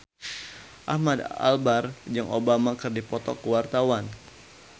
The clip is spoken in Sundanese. Ahmad Albar jeung Obama keur dipoto ku wartawan